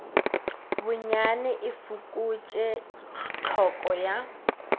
bonyane e fokotše tlhoko ya